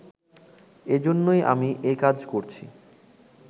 এজন্যই আমি এ কাজ করছি